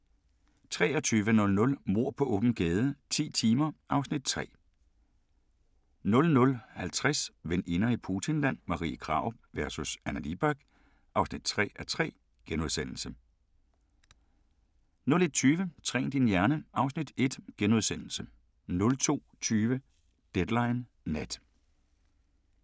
23:00: Mord på åben gade - ti timer (Afs. 3) 00:50: Veninder i Putinland – Marie Krarup vs. Anna Libak (3:3)* 01:20: Træn din hjerne (Afs. 1)* 02:20: Deadline Nat